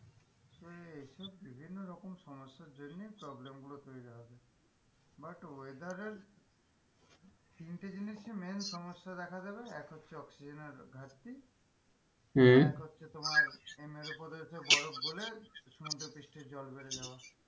But weather এর তিনটে জিনিসই main সমস্যা দেখা যাবে এক হচ্ছে oxygen এর ঘাটতি হম এক হচ্ছে তোমার মেরু প্রদেশে বরফ গলে সমুদ্র পৃষ্ঠে জল বেড়ে যাওয়া।